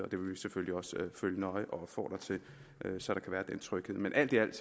selvfølgelig også følge nøje og opfordre til så der kan være den tryghed men alt i alt